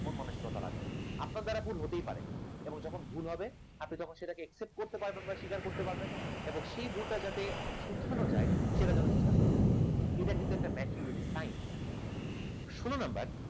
মন মানসিকতা রাখবেন আপনার দ্বারা ভুল হতেই পারে এবং যখন ভুল হবে আপনি তখন সেটাকে accept করতে পারবেন বা স্বীকার করতে পারবেন এবং সেই ভুলটাকে যাতে শুধরানো যায় সেটার জন্য চেষ্টা করতে পারবেন, এটা কিন্তু একটা maturity র sign ষোল number